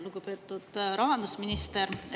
Lugupeetud rahandusminister!